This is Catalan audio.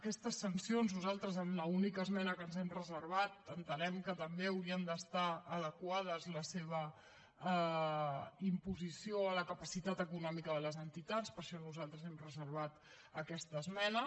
aquestes sancions nosaltres en l’única esmena que ens hem reservat entenem que també hauria d’estar adequada la seva imposició a la capacitat econòmica de les entitats per això nosaltres hem reservat aquesta esmena